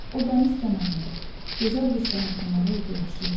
O dəniz kənarında, gözəl bir şəhər kənarı evdə yaşayırdı.